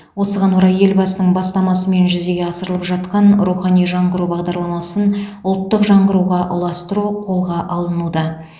осыған орай елбасының бастамасымен жүзеге асырылып жатқан рухани жаңғыру бағдарламасын ұлттық жаңғыруға ұластыру қолға алынуда